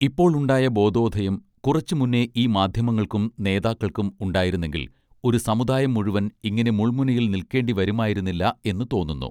ഇപ്പോൾ ഉണ്ടായ ബോധോധയം കുറച്ച് മുന്നേ ഈ മാധ്യമങ്ങൾക്കും നേതാക്കൾക്കും ഉണ്ടായിരുന്നെങ്കിൽ ഒരു സമുദായം മുഴുവൻ ഇങ്ങിനെ മുൾമുനയിൽ നിൽക്കേണ്ടി വരുമായിരുന്നില്ല എന്ന് തോന്നുന്നു